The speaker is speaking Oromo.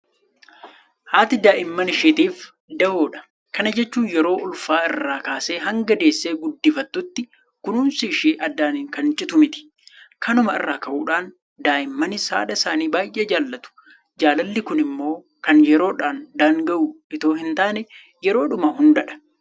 Haati daa'ima isheetiif dahoodha. Kana jechuun yeroo ulfaa irrraa kaasee hanga deessee guddifattuttuu kunuunsi ishee addaan kan citu miti. Kanuma irraa ka'uudhaan daa'immanis haadha isaanii baay'ee jaalatu. Jaalalli kun immoo kan yeroodhaan daanga'u itoo hintaane yeroodhuma hundadha.